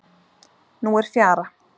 Nú er fjara.